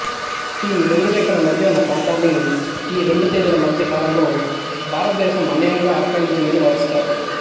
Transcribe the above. ఈ రెండు రేఖల మధ్య ఉన్న ప్రాంతాన్ని ఈ రెండు తేదీల మధ్య కాలంలో భారతదేశం అన్యాయంగా ఆక్రమించిందని వాదిస్తారు